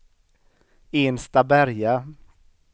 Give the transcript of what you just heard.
Enstaberga